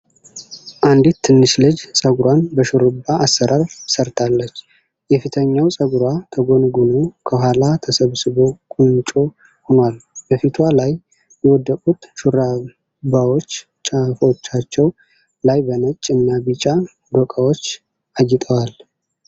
አንዲት ትንሽ ልጅ ጸጉሯን በሽሩባ አሰራር ሰርታለች። የፊተኛው ጸጉሯ ተጎንጉኖ ከኋላ ተሰብስቦ ቁንጮ ሆኗል። በፊቷ ላይ የወደቁት ሽሩባዎች ጫፎቻቸው ላይ በነጭ እና ቢጫ ዶቃዎች አጊጠዋል።